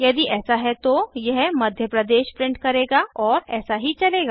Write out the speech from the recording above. यदि ऐसा है तो यह मध्य प्रदेश प्रिंट करेगा और ऐसा ही चलेगा